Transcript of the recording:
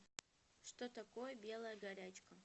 что такое белая горячка